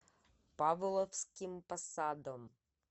павловским посадом